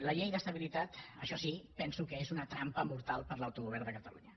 la llei d’estabilitat això sí penso que és una trampa mortal per a l’autogovern de catalunya